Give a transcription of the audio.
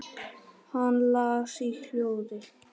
Hann las í hljóði